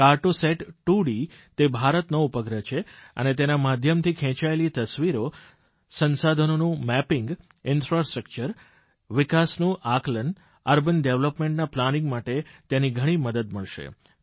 કાર્ટો સત 2D તે ભારતનો ઉપગ્રહ છે અને તેના માધ્યમથી ખેંચાયેલી ઝડપાયેલી તસવીરો સંસાધનોનું મેપિંગ ઇન્ફ્રાસ્ટ્રકચર વિકાસનું આકલન અર્બન ડેવલપમેન્ટના પ્લાનિંગ માટે તેની ઘણી મદદ મળશે